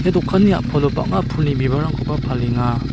dokanni a·palo bang·a pulni bibalrangkoba palenga.